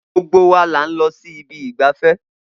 Gbogbo wa là ń lọ sí ibi ìgbafẹ́